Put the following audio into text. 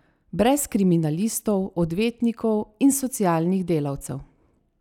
Brez kriminalistov, odvetnikov in socialnih delavcev!